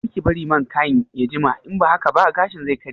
Karki bar man kayin ya jima in ba haka ba gashin zai karye